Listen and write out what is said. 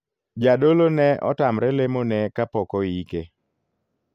Jadolo ne otamre lemo ne kapok oike.